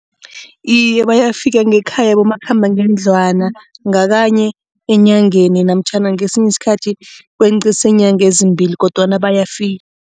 Iye, bayafika ngekhaya abomakhambangendlwana ngakanye enyangeni namtjhana ngesinye isikhathi kwenqise iinyanga ezimbili kodwana bayafika.